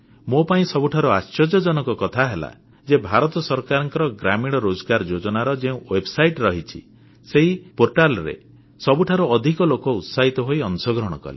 ମୋ ପାଇଁ ସବୁଠାରୁ ଆଶ୍ଚର୍ଯ୍ୟଜନକ କଥା ହେଲା ଯେ ଭାରତ ସରକାରଙ୍କ ଗ୍ରାମୀଣ ରୋଜଗାର ଯୋଜନାର ଯେଉଁ ୱେବସାଇଟ ରହିଛି ସେହି ପୋର୍ଟାଲରେ ସବୁଠାରୁ ଅଧିକ ଲୋକ ଉତ୍ସାହିତ ହୋଇ ଅଂଶଗ୍ରହଣ କଲେ